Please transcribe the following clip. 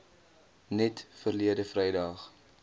net verlede vrydag